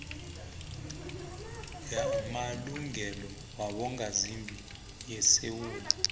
yamalungelo wabongazimbi yesewula